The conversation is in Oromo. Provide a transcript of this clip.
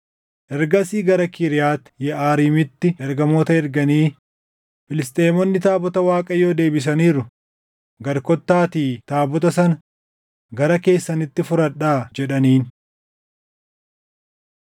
Ergasii gara Kiriyaati Yeʼaariimitti ergamoota erganii, “Filisxeemonni taabota Waaqayyoo deebisaniiru; gad kottaatii taabota sana gara keessanitti fudhadhaa” jedhaniin.